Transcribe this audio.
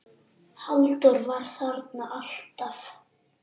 Halldór var þarna alltaf.